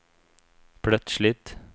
plötsligt